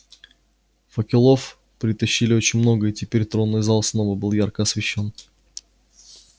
факелов притащили очень много и теперь тронный зал снова был ярко освещён